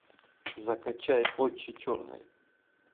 закачай очи черные